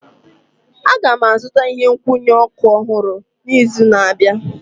Aga m azụta ihe nkwụnye ọkụ ọhụrụ n'izu na-abịa